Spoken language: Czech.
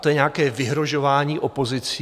To je nějaké vyhrožování opozicí?